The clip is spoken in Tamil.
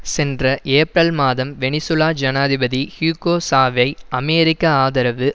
சென்ற ஏப்ரல் மாதம் வெனிசூலா ஜனாதிபதி ஹியூகோ சாவை அமெரிக்க ஆதரவு